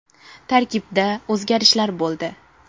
Tarkibda o‘zgarishlar bo‘ldi.